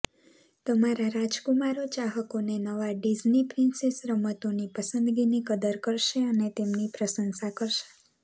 તમારા રાજકુમારો ચાહકોને નવા ડીઝની પ્રિન્સેસ રમતોની પસંદગીની કદર કરશે અને તેની પ્રશંસા કરશે